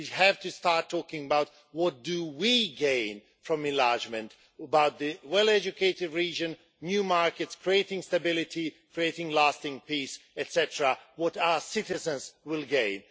We have to start talking about what we gain from enlargement about the well educated regions, the new markets, creating stability, creating lasting peace, etc. what our citizens will gain.